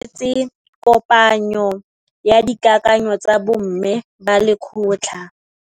Ba itumeletse kôpanyo ya dikakanyô tsa bo mme ba lekgotla.